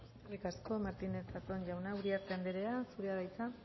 eskerrik asko martínez zatón jauna uriarte anderea zurea da hitza